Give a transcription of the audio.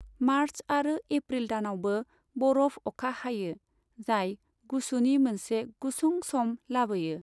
March आरो April दानावबो बरफ अखा हायो, जाय गुसुनि मोनसे गुसुं सम लाबोयो।